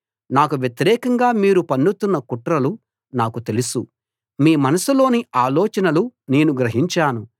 నాకు వ్యతిరేకంగా మీరు పన్నుతున్న కుట్రలు నాకు తెలుసు మీ మనసులోని ఆలోచనలు నేను గ్రహించాను